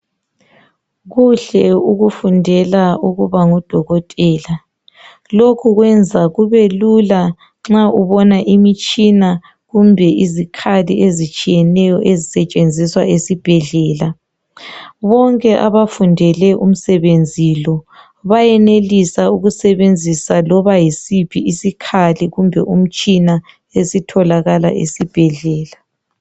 Kuhle ukufundela ukuba ngudokotela, lokhu kwenza kubelula nxa ubona imitshina kumbe izikhali ezitshiyeneyo ezisetshenziswa esibhedlela. Bonke abafundele umsebenzi lo, bayenelisa ukusebenzisa loba yisiphi isikhali loba umtshina otholakala esibhedlela.